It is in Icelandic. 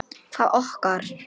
Hvaða okkar?